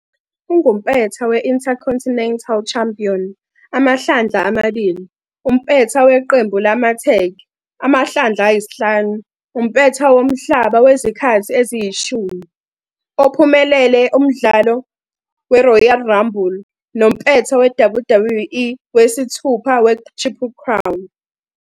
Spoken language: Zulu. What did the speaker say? Ungumpetha we-Intercontinental Champion amahlandla amabili, umpetha weqembu lamathegi amahlandla ayisihlanu, umpetha womhlaba wezikhathi eziyishumi, ophumelele umdlalo weRoyal Rumble, nompetha weWWE wesithupha weTriple Crown.